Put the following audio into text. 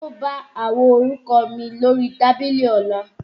O bá àwo orúkọ mi lórí tábìlì Ọlá